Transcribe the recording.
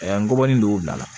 Ngɔbɔnin don bila la